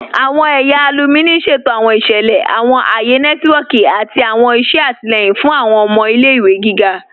Awọn ẹ̀yà alùmíní ṣẹ̀tò awọn iṣẹlẹ, awọn ayé nẹtìwọ̀kì, àti awọn iṣẹ̀ àtílẹ̀yìn fún awọn ọmọ ilẹ̀-ìwé gígá.